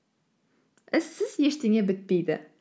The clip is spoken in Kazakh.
іссіз ештеңе бітпейді